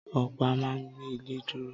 Ọ̀pá a ma gbé ilé dúró